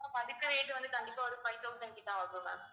ma'am அதுக்கு rate வந்து கண்டிப்பா வந்து five thousand கிட்ட ஆகும் ma'am